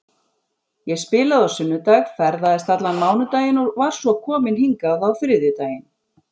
Ég spilaði á sunnudag, ferðaðist allan mánudaginn og var svo komin hingað á þriðjudaginn.